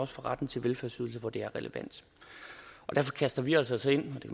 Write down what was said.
for retten til velfærdsydelser hvor det er relevant derfor kaster vi os altså ind